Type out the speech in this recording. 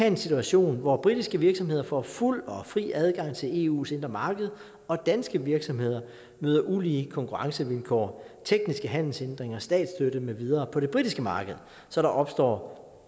en situation hvor britiske virksomheder får fuld og fri adgang til eus indre marked og danske virksomheder møder ulige konkurrencevilkår tekniske handelshindringer statsstøtte med videre på det britiske marked så der opstår